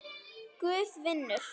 Guð vinnur.